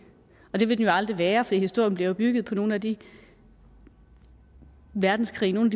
og det vil den jo aldrig være for historien bliver bygget på nogle af de verdenskrige nogle